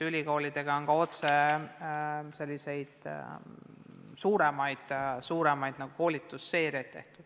Ülikoolidega on ka otse tehtud selliseid suuremaid koolitusseeriaid.